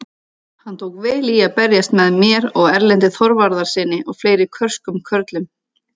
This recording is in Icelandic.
Hann tók vel í að berjast með mér og Erlendi Þorvarðarsyni og fleiri körskum körlum!